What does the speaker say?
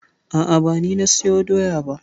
A'a ba ni na sayo doya ba.